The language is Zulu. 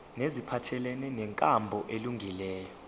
neziphathelene nenkambo elungileyo